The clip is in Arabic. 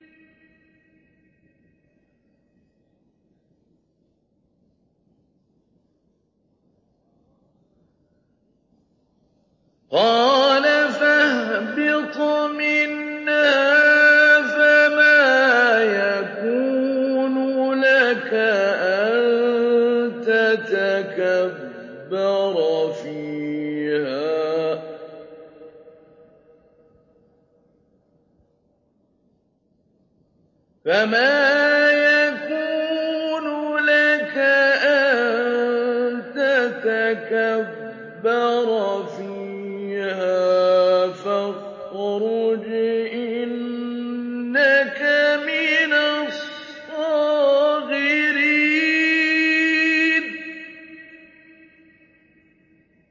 قَالَ فَاهْبِطْ مِنْهَا فَمَا يَكُونُ لَكَ أَن تَتَكَبَّرَ فِيهَا فَاخْرُجْ إِنَّكَ مِنَ الصَّاغِرِينَ